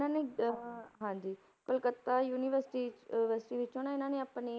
ਇਹਨਾਂ ਨੇ ਅਹ ਹਾਂਜੀ ਕਲਕੱਤਾ university ਅਹ ~versity ਵਿੱਚੋਂ ਨਾ ਇਹਨਾਂ ਨੇ ਆਪਣੀ